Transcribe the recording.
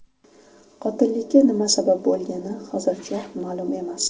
Qotillikka nima sabab bo‘lgani hozircha ma’lum emas.